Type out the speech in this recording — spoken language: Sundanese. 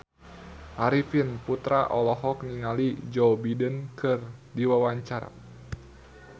Arifin Putra olohok ningali Joe Biden keur diwawancara